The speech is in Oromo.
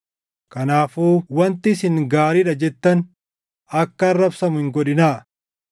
Kanaafuu wanti isin gaariidha jettan akka arrabsamu hin godhinaa.